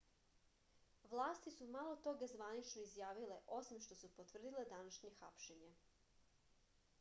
vlasti su malo toga zvanično izjavile osim što su potvrdile današnje hapšenje